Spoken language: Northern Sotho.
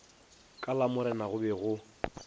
ka lamorena go be go